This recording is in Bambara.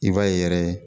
I b'a ye yɛrɛ